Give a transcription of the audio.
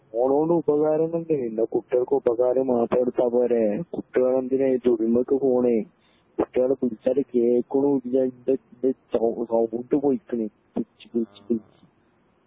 ഫോണൊണ്ട് ഉപകാരങ്ങൾ ഉണ്ട് എന്നാ കുട്ടേൾക്ക് ഉപകാരം മാത്രം എടുത്തപോരെ കുട്ട്യേൾ എന്തിനാ ഈ പോണ് കുട്ട്യേൾ വിളിച്ചാല് കേക്കുണുല്യ ഇൻ്റെ ഇൻ്റെ സൗണ്ട് പോയിക്കണ് വിളിച്ച് വിളിച്ച് വിളിച്ച്